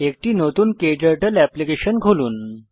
একটি নতুন ক্টার্টল এপ্লিকেশন খুলুন